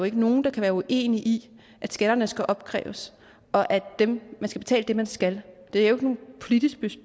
ikke nogen der kan være uenig i at skatterne skal opkræves og at man skal betale det man skal